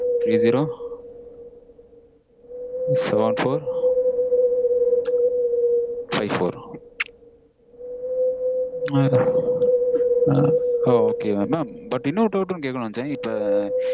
three zero seven four five four ஓ mam but இன்னொரு doubt டும் கேக்கனுனு நெனைச்சேன். இப்போ